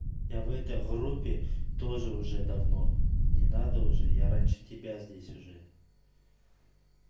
я в этой группе тоже уже давно не надо уже я раньше тебя здесь уже